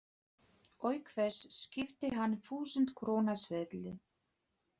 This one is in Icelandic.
Auk þess skipti hann þúsund króna seðli.